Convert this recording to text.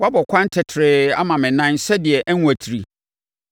Woabɔ ɛkwan tɛtrɛɛ ama me nan sɛdeɛ ɛrenwatiri.